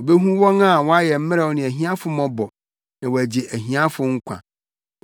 Obehu wɔn a wɔayɛ mmrɛw ne ahiafo mmɔbɔ na wagye ahiafo nkwa.